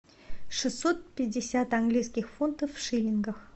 шестьсот пятьдесят английских фунтов в шиллингах